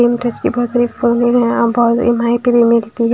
इन बहुत भी मिलती है।